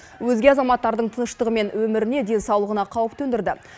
өзге азаматтардың тыныштығы мен өміріне денсаулығына қауіп төндірді